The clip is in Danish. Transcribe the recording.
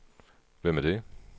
Hvem er det